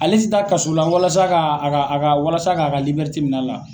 Ale tɛ taa kaso la walasa ka a ka a ka walasa ka ka minɛ la.